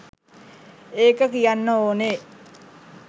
ඒක කියන්න ඕනෙ